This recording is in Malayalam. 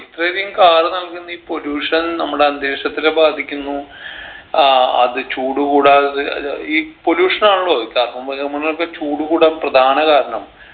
ഇത്രയധികം car നൽകുന്നെ ഈ pollution നമ്മുടെ അന്തരീക്ഷത്തിന ബാധിക്കുന്നു ആഹ് അത് ചൂട് കൂടാതെ അഹ് ഈ pollution ആണല്ലോ ഈ carbon ബഹിരുപകരണങ്ങളൊക്കെ ചൂട് കൂടാൻ പ്രധാന കാരണം